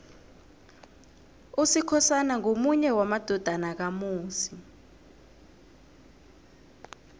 usikhosana ngomunye wamadodana kamusi